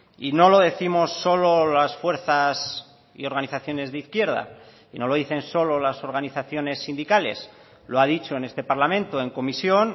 y no lo décimos solo las fuerzas y organizaciones de izquierda y no lo dicen solo las organizaciones sindicales lo ha dicho en este parlamento en comisión